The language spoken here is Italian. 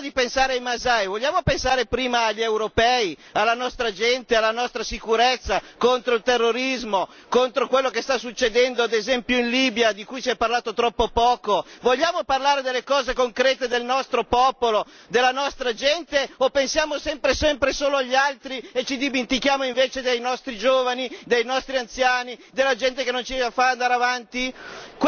Però prima di pensare ai masai, vogliamo pensare prima agli europei, alla nostra gente, alla nostra sicurezza contro il terrorismo, contro quello che sta succedendo, ad esempio, in Libia, di cui si è parlato troppo poco? Vogliamo parlare delle cose concrete del nostro popolo, della nostra gente o pensiamo sempre solo agli altri e ci dimentichiamo invece dei nostri giovani, dei nostri anziani, della gente che non ce la fa ad andare avanti?